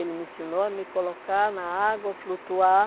Ele me ensinou a me colocar na água, flutuar,